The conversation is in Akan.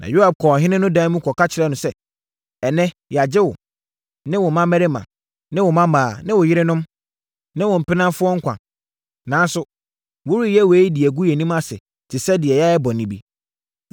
Na Yoab kɔɔ ɔhene no dan mu kɔka kyerɛɛ no sɛ, “Ɛnnɛ yɛagye wo, ne wo mmammarima, ne wo mmammaa, ne wo yerenom, ne wo mpenafoɔ nkwa. Nanso, woreyɛ yei de gu yɛn anim ase te sɛ deɛ yɛayɛ bɔne bi.